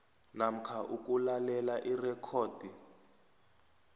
namkha ukulalela irekhodi